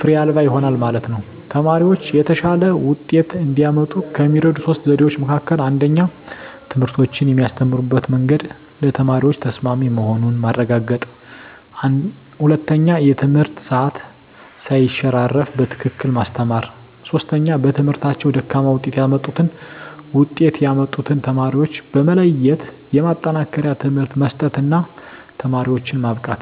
ፋሬ አልባ ይሆናል ማለት ነው። ተማሪወች የተሻለ ወጤት እንዲያመጡ ከሚረዱ 3 ዘዴዎች መካከል 1ኛ ትምህርቶችን የሚያስተምሩበት መንግድ ለተማሪዎች ተሰማሚ መሆኑን ማረጋገጥ 1ኛ የትምህርት ሰአት ሳይሸራረፉ በትክክል ማስተማር 3ኛ በትምህርታቸው ደካማ ውጤት ያመጡትን ውጤት ያመጡትን ተማሪዎች በመለየት የማጠናከሪያ ትምህርት መስጠት እና ተማሪዎችን ማብቃት።